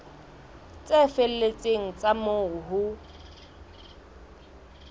tse felletseng tsa moo ho